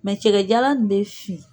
Mɛ cɛkɛjalan in bɛ fin.